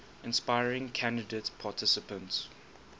inspiring candidate participants